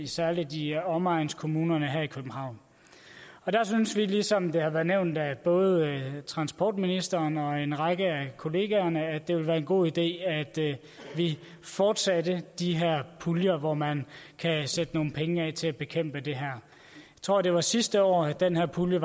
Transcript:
særlig i omegnskommunerne her i københavn der synes vi ligesom det har været nævnt af både transportministeren og en række af kollegaerne at det ville være en god idé at vi fortsatte de her puljer hvor man kan sætte nogle penge af til at bekæmpe det her jeg tror det var sidste år den her pulje